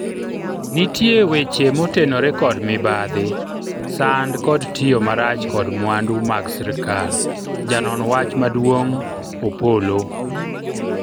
nitie weche motenore kod mibadhi, sand kod tiyo marach kod mwandu mag sirikal, janon wach maduong' Opolo